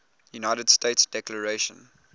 united states declaration